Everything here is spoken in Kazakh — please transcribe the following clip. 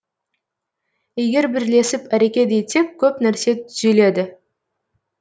егер бірлесіп әрекет етсек көп нәрсе түзеледі